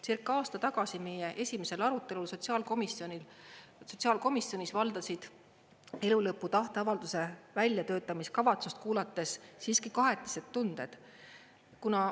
Circa aasta tagasi, meie esimesel arutelul sotsiaalkomisjonis valdasid elu lõpu tahteavalduse väljatöötamiskavatsust kuulates siiski kahetised tunded.